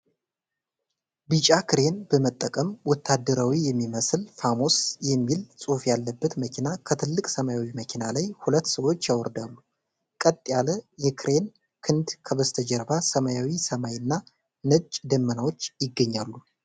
ቢጫ ክሬን በመጠቀም ወታደራዊ የሚመስል "ፋሞስ" የሚል ጽሑፍ ያለበትን መኪና ከትልቅ ሰማያዊ መኪና ላይ ሁለት ሰዎች ያወርዳሉ። ቀጥ ያለ የክሬን ክንድ ከበስተጀርባ ሰማያዊ ሰማይ እና ነጭ ደመናዎች ይገኛሉ።